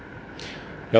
já